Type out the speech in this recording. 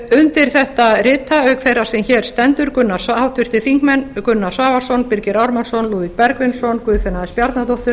undir þetta rita auk þeirrar sem hér stendur háttvirtir þingmenn gunnar svavarsson birgir ármannsson lúðvík bergvinsson guðfinna s bjarnadóttir